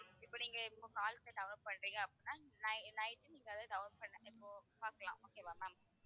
இப்ப நீங்க இப்போ download பண்றீங்க அப்படின்னா ni~ night நீங்க அதை download இப்போ பார்க்கலாம் okay வா ma'am